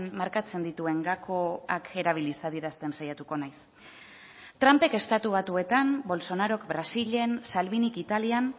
markatzen dituen gakoak erabiliz adierazten saiatuko naiz trumpek estatu batuetan bolsonarok brasilen salvinik italian